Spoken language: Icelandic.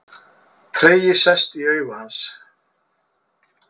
Tregi sest í augu hans.